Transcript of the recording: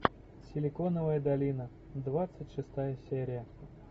силиконовая долина двадцать шестая серия